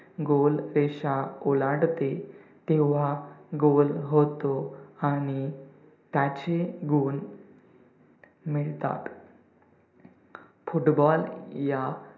goal रेषा ओलांडते तेव्हा goal होतो आणि त्याचे goal मिळतात. football या